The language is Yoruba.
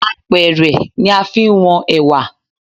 Apẹ̀rẹ̀ ni a fi ń wọn Ẹ̀wà.